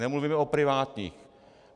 Nemluvíme o privátních.